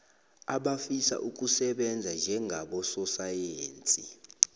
abafisa ukusebenza njengabososayensi